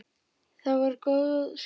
Það voru góð skipti.